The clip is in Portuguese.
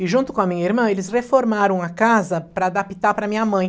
E junto com a minha irmã, eles reformaram a casa para adaptar para minha mãe.